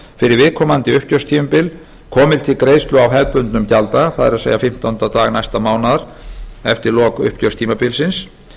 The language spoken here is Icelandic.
viðkomandi uppgjörstímabil komi til greiðslu á hefðbundnum gjalddaga það er fimmtánda dag næsta mánaðar eftir lok uppgjörstímabilsins